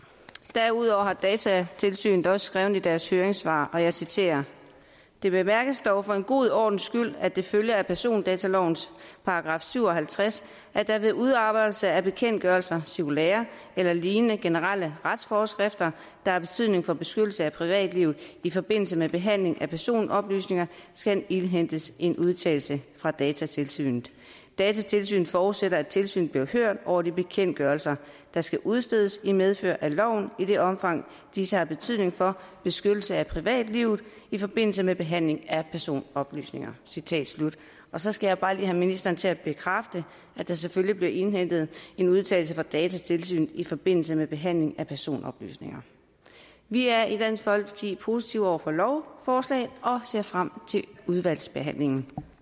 derudover har datatilsynet også skrevet i deres høringssvar og jeg citerer det bemærkes dog for en god ordens skyld at det følger af persondatalovens § syv og halvtreds at der ved udarbejdelse af bekendtgørelser cirkulærer eller lignende generelle retsforskrifter der har betydning for beskyttelse af privatlivet i forbindelse med behandling af personoplysninger skal indhentes en udtalelse fra datatilsynet datatilsynet forudsætter at tilsynet bliver hørt over de bekendtgørelser der skal udstedes i medfør af loven i det omfang disse har betydning for beskyttelse af privatlivet i forbindelse med behandling af personoplysninger citat slut så skal jeg bare lige have ministeren til at bekræfte at der selvfølgelig bliver indhentet en udtalelse fra datatilsynet i forbindelse med behandling af personoplysninger vi er i dansk folkeparti positive over for lovforslaget og ser frem til udvalgsbehandlingen